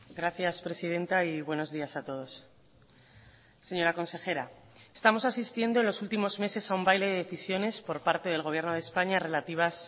gracias presidenta y buenos días a todos señora consejera estamos asistiendo en los últimos meses a un baile de decisiones por parte del gobierno de españa relativas